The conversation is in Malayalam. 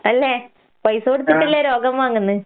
അല്ലേ? പൈസ കൊടുത്തട്ടല്ലേ രോഗം വാങ്ങുന്നേ?